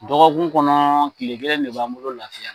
Dɔgɔkun kɔnɔ kile kelen de b'an bolo lafiya la.